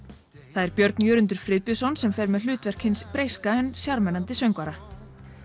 það er Björn Jörundur Friðbjörnsson sem fer með hlutverk hins breyska en sjarmerandi söngvara